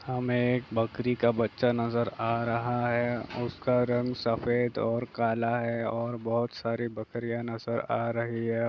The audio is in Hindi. हमें एक बकरी का बच्चा नजर आ रहा है उसका रंग सफ़ेद और काला है और बहुत सारी बकरियां नजर आ रही है।